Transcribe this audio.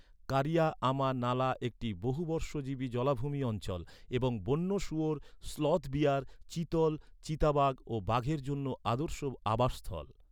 কারিয়া আমা নালা একটি বহুবর্ষজীবী জলাভূমি অঞ্চল এবং বন্য শুয়োর, স্লথ বিয়ার, চিতল, চিতাবাঘ ও বাঘের জন্য আদর্শ আবাস স্থল।